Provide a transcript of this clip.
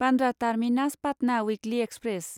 Bandra terminus Patna weekly express